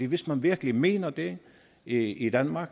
hvis man virkelig mener det i det i danmark